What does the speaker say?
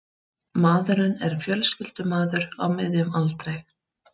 Maðurinn er fjölskyldumaður á miðjum aldri